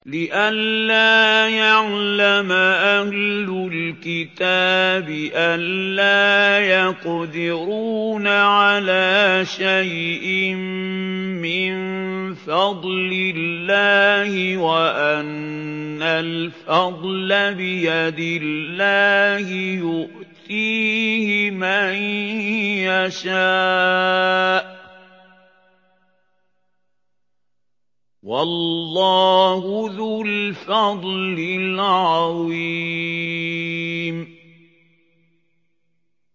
لِّئَلَّا يَعْلَمَ أَهْلُ الْكِتَابِ أَلَّا يَقْدِرُونَ عَلَىٰ شَيْءٍ مِّن فَضْلِ اللَّهِ ۙ وَأَنَّ الْفَضْلَ بِيَدِ اللَّهِ يُؤْتِيهِ مَن يَشَاءُ ۚ وَاللَّهُ ذُو الْفَضْلِ الْعَظِيمِ